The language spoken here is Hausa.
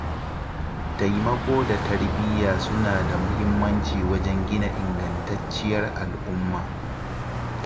Taimako da tarbiyya suna da muhimmanci wajen gina ingantacciyar al'umma.